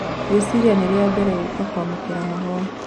Ngũĩciria nĩ rĩa mbere guoko kũamũkĩra mahũa."